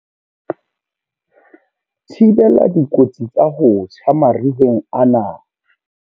Thibela dikotsi tsa ho tjha mariheng ana.